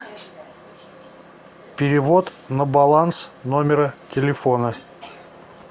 перевод на баланс номера телефона